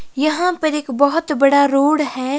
यहां पर एक बहोत बड़ा रोड है।